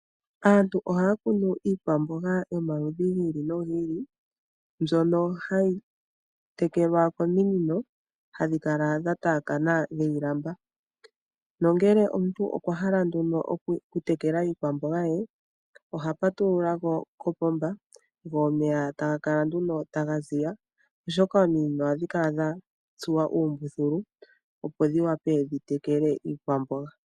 Aantu ohaya kunu iikwamboga yomaludhi gi ili nogi ili, mbyono hayi tekelwa kominino hadhi kala dhataakana niilamba nongele omuntu okwa hala nduno oku tekela iikwamboga ye, oha patulula kopomba go omeya taga kala nduno taga zi ya oshoka ominino ohadhi kala dha tsuwa uumbuthulu opo dhi wa pe dhi tekela iikwamboga.